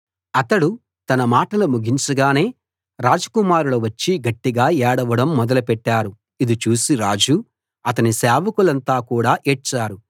అతడు తన మాటలు ముగించగానే రాజకుమారులు వచ్చి గట్టిగా ఏడవడం మొదలుపెట్టారు ఇది చూసి రాజు అతని సేవకులంతా కూడా ఏడ్చారు